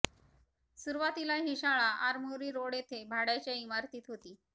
सुरुवातीला ही शाळा आरमोरी रोड येथे भाडयाच्या इमारतीत होती